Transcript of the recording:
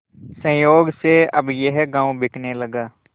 संयोग से अब यह गॉँव बिकने लगा